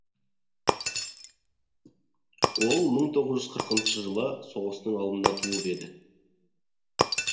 ол мың тоғыз жүз қырқыншы жылы соғыстың алдында туып еді